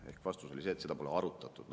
Ehk vastus oli see, et seda pole arutatud.